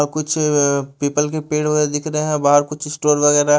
और कुछ अ पीपल के पेड़ वगेरा दिख रहे है कुछ स्टोर वगेरा --